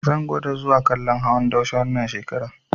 Zan gwada zuwa kallon hawan daushe wannan shekarar.